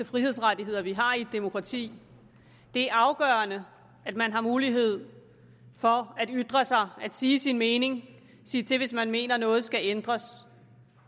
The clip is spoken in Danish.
frihedsrettigheder vi har i et demokrati det er afgørende at man har mulighed for at ytre sig at sige sin mening sige til hvis man mener at noget skal ændres